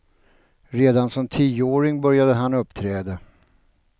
Redan som tioåring började han uppträda.